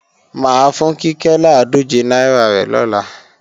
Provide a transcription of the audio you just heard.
Máa fún Kíkẹ́ làádòje náírà rẹ̀ lọ́la